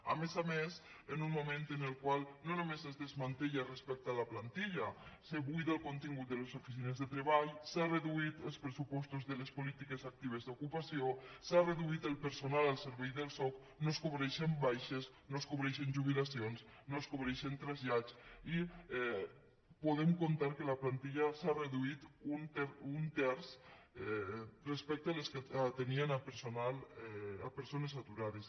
a més a més en un moment en el qual no només es desmantella respecte a la plantilla es buida el contingut de les oficines de treball s’han reduït els pressupostos de les polítiques actives d’ocupació s’ha reduït el personal al servei del soc no es cobreixen baixes no es cobreixen jubilacions no es cobreixen trasllats i podem comptar que la plantilla s’ha reduït un terç respecte als que atenien persones aturades